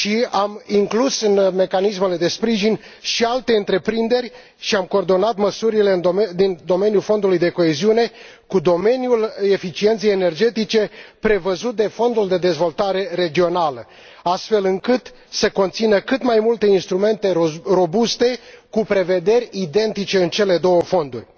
Am inclus în mecanismele de sprijin și alte întreprinderi și am coordonat măsurile din domeniul Fondului de coeziune cu domeniul eficienței energetice prevăzut de Fondul de dezvoltare regională, astfel încât să conțină cât mai multe instrumente robuste, cu prevederi identice în cele două fonduri.